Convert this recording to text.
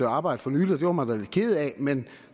arbejde for nylig og det var man lidt ked af men